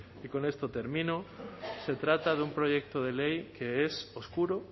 y con esto termino se trata de un proyecto de ley que es oscuro